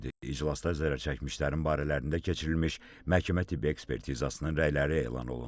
İclasda zərər çəkmişlərin barələrində keçirilmiş məhkəmə-tibbi ekspertizasının rəyləri elan olundu.